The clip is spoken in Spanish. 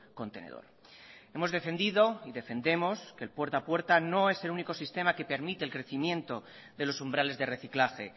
contenedor hemos defendido y defendemos que el puerta a puerta no es único sistema que permite el crecimiento de los umbrales de reciclaje